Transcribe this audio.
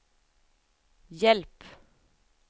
hjälp